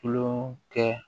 Kulon kɛ